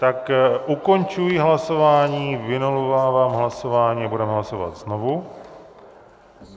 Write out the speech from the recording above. Tak ukončuji hlasování, vynulovávám hlasování a budeme hlasovat znovu.